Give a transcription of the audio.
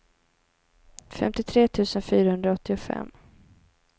femtiotre tusen fyrahundraåttiofem